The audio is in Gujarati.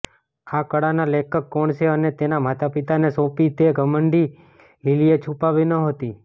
આ કળાના લેખક કોણ છે અને તેના માતાપિતાને સોંપી તે ઘમંડી લિલિએ છુપાવી નહોતી